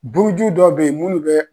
Buuju dɔw be ye munnu bɛ